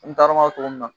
N taar'o togo min na